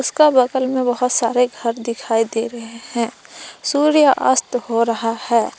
इसका बगल में बहुत सारे घर दिखाई दे रहे हैं सूर्य अस्त हो रहा है।